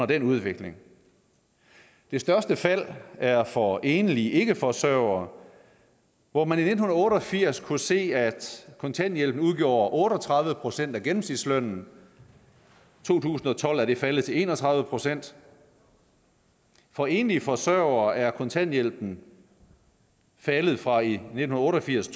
den udvikling det største fald er for enlige ikkeforsørgere hvor man i nitten otte og firs kunne se at kontanthjælpen udgjorde otte og tredive procent af gennemsnitslønnen og i to tusind og tolv var det faldet til en og tredive procent for enlige forsørgere er kontanthjælpen faldet fra i nitten otte og firs